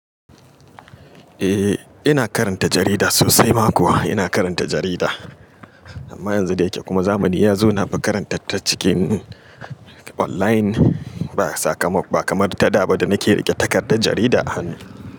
Eh ina karanta jarida sosai mako ina karanta jarida. Amma yanzu da yake kuma zamani ya zo na fi karanta ta cikin online ba kamar ta da ba da nake riƙe takardar jarida hannu.